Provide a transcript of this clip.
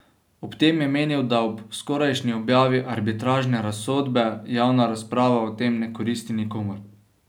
Ob tem je menil, da ob skorajšnji objavi arbitražne razsodbe javna razprava o tem ne koristi nikomur.